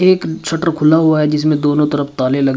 एक शटर खुला हुआ है जिसमें दोनों तरफ ताले लगे--